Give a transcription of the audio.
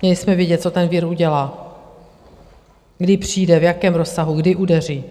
Měli jsme vědět, co ten vir udělá, kdy přijde, v jakém rozsahu, kdy udeří!